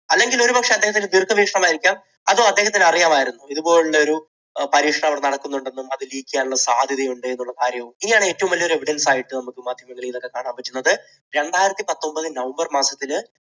അല്ലെങ്കിൽ ഒരു പക്ഷേ അദ്ദേഹത്തിൻറെ ദീർഘവീക്ഷണം ആയിരിക്കാം. അതോ അദ്ദേഹത്തിന് അറിയാമായിരുന്നോ ഇതുപോലുള്ള ഒരു പരീക്ഷണം അവിടെ നടക്കുന്നുണ്ടെന്നും അത് leak ചെയ്യാൻ സാധ്യതയുണ്ട് എന്നുള്ള കാര്യം. ഇനിയാണ് ഏറ്റവും വലിയ ഒരു evidence ആയിട്ട് നമുക്ക് ഇതിനെ കാണാൻ പറ്റുന്നത് രണ്ടായിരത്തി പത്തൊൻപത് november മാസത്തിൽ